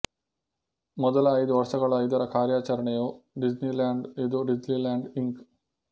ಮೊದಲ ಐದು ವರ್ಷಗಳ ಇದರ ಕಾರ್ಯಾಚರಣೆಯು ಡಿಸ್ನಿಲ್ಯಾಂಡ್ ಇದು ಡಿಸ್ನಿಲ್ಯಾಂಡ್ ಇಂಕ್